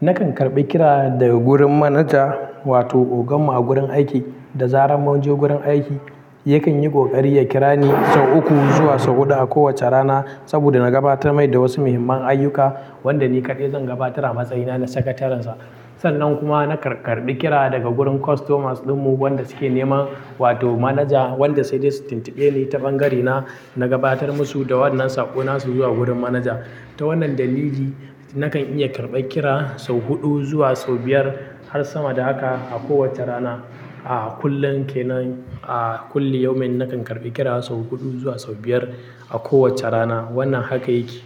Nakan karbi kira daga wurin manaja wato ogan mu a gurin aiki, da zaran munje gurin aiki. Yakan yi ƙoƙari ya kira ni sau uku zuwa sau huɗu a kowace rana saboda na gabatar mai da wasu muhimman ayyuka, wanda ni ƙaɗai zan gabatar a matsayina na sakatarensa. Sannan kuma nakan karbi kira daga gurin customers ɗinmu wanda suke nema wato manaja wanda sai dai su tuntuɓe ni ta ɓangarena, na gabatar musu da wannan saƙo nasu zuwa gurin manaja. Ta wannan dalili nakan iya karɓar kira sau huɗu zuwa sau biyar har sama da haka a kowace rana. A kullum kenan, a kullu yaumin nakan karɓi kira sau huɗu zuwa sau biyar a kowace rana. Wannan haka yake.